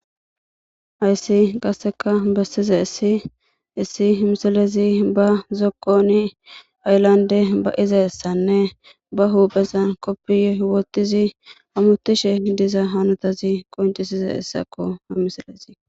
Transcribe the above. ayssi qasseka bessiza issi issi misilezi ba zokkoni ayslande ba izassanne ba huuphezan koppiye wotizi amutishe diza hanotazi qoncisiza issakko ha misalezi